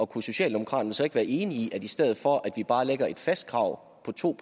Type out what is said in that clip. kunne socialdemokraterne så ikke være enige i at i stedet for at vi bare lægger et fast krav på to